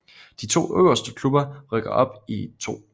De to øverste klubber rykker op i 2